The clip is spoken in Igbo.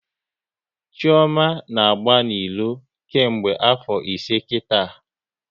Chioma na agba n'ilo nke mgbe afo ise kita